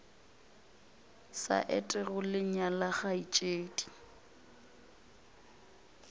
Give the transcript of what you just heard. sa etego le nyala kgaetšedi